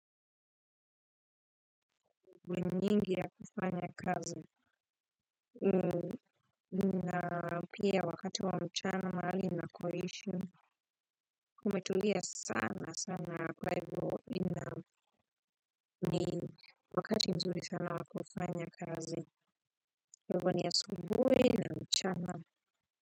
Gweningi ya kufanya kazi na pia wakati wa mchana mahali nakoishi kumetulia sana kwa ivyo nina wakati mzuri sana wa kufanya kazi kwa hivyo ni asubui na mchana.